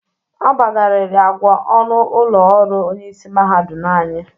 Agbagarịrị agwa ọnụ ụlọ ọrụ onyeisi mahadum anyị.